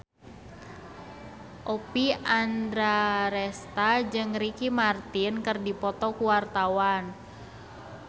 Oppie Andaresta jeung Ricky Martin keur dipoto ku wartawan